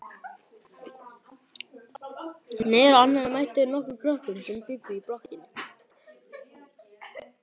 Niðrá annarri mættu þeir nokkrum krökkum sem bjuggu í blokkinni.